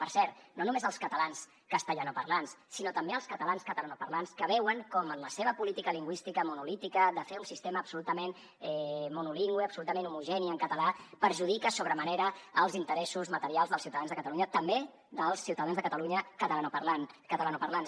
per cert no només els catalans castellanoparlants sinó també els catalans catalanoparlants que veuen com la seva política lingüística monolítica de fer un sistema absolutament monolingüe absolutament homogeni en català perjudica sobre manera els interessos materials dels ciutadans de catalunya també dels ciutadans de catalunya catalanoparlants